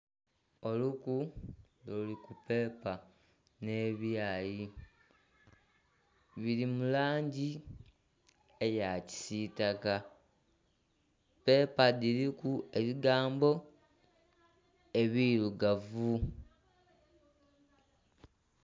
Oluku nga luli ku peepa nhe ebyayi biri mu langi eya kisitaka, peepa dhiriku ebigambo ebirugavu.